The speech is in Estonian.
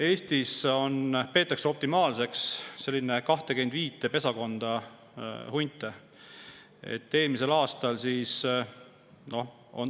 Eestis peetakse optimaalseks 25 pesakonda hunte.